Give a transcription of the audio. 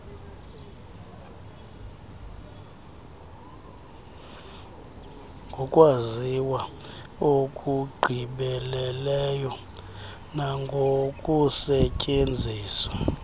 ngokwaziwa okugqibeleleyo nangokusetyenziswa